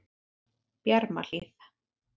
Bjarmahlíð